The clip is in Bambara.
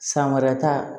San wɛrɛ ta